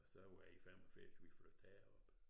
Og så var det i 85 vi flyttede herop